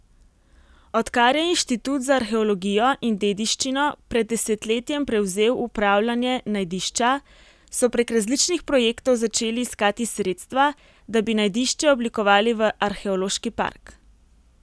Odkar je inštitut za arheologijo in dediščino pred desetletjem prevzel upravljanje najdišča, so prek različnih projektov začeli iskati sredstva, da bi najdišče oblikovali v arheološki park.